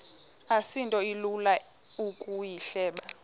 asinto ilula ukuyihleba